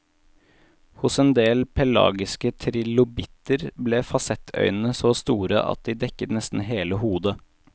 Hos endel pelagiske trilobitter ble fasettøynene så store at de dekket nesten hele hodet.